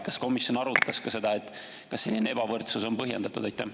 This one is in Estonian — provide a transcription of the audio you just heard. Kas komisjon arutas ka seda, kas selline ebavõrdsus on põhjendatud?